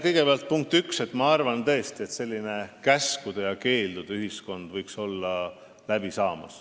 Kõigepealt punkt üks: ma tõesti arvan, et sellise käskude ja keeldude ühiskonna aeg võiks hakata läbi saama.